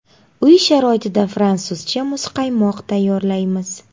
Uy sharoitida fransuzcha muzqaymoq tayyorlaymiz.